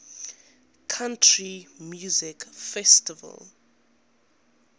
country music festival